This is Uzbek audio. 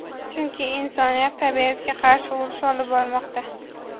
chunki insoniyat tabiatga qarshi urush olib bormoqda.